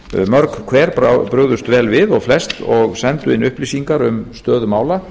mörg hver brugðust vel við og flest og sendu inn upplýsingar um stöðu mála